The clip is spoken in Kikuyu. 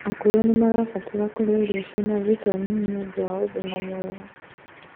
Akũrũ nimarabatara kũrĩa irio ciĩna vitamini nĩũndũ wa ũgima mwega